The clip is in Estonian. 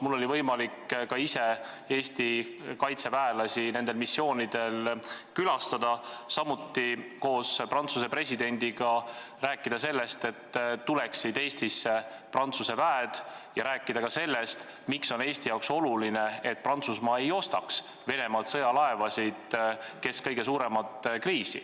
Mul oli võimalik ka ise Eesti kaitseväelasi nendel missioonidel külastada, samuti rääkida Prantsuse presidendiga sellest, et Eestisse tuleksid Prantsuse väed, rääkida ka sellest, miks on Eestile oluline, et Prantsusmaa ei ostaks kesk kõige suuremat kriisi Venemaalt sõjalaevu.